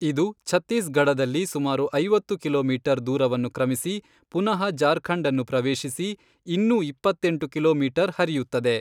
ಇದು ಛತ್ತೀಸ್ ಗಢದಲ್ಲಿ ಸುಮಾರು ಐವತ್ತು ಕಿಲೋಮೀಟರ್, ದೂರವನ್ನು ಕ್ರಮಿಸಿ ಪುನಃ ಜಾರ್ಖಂಡ್ ಅನ್ನು ಪ್ರವೇಶಿಸಿ ಇನ್ನೂ ಎಪ್ಪತ್ತೆಂಟು ಕಿಲೋಮೀಟರ್, ಹರಿಯುತ್ತದೆ.